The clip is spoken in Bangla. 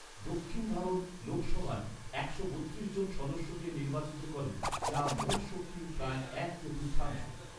দক্ষিণ ভারত লোকসভায় একশো বত্রিশ জন সদস্যকে নির্বাচিত করে, যা মোট শক্তির প্রায় এক চতুর্থাংশ।